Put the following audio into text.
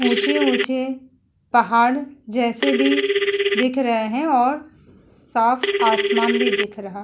ऊँचे-ऊँचे पहाड़ जैसे भी दिख रहे है और साफ़ आसमान भी दिख रहा।